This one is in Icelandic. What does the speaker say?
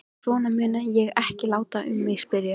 Svona mun ég ekki láta um mig spyrjast.